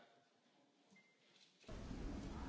a favore del documento approvato.